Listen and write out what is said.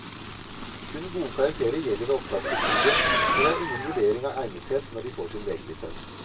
Kun gode karakterer gjelder ved opptak til studiet, og det er ingen vurdering av egnethet når de får sin legelisens.